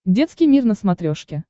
детский мир на смотрешке